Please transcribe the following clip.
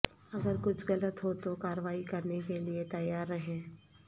اگر کچھ غلط ہو تو کارروائی کرنے کے لئے تیار رہیں